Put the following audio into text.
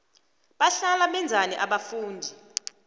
bahlala benzani abafundi